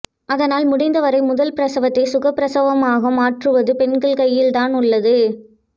அதனால் முடிந்தவரை முதல் பிரசவத்தை சுகப்பிரசவமாக மாற்றுவது பெண்கள் கையில் தான் உள்ளது